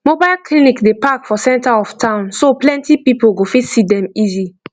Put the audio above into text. mobile clinic dey park for center of town so plenty people go fit see dem easy